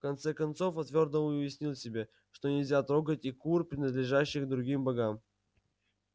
в конце концов он твёрдо уяснил себе что нельзя трогать и кур принадлежащих другим богам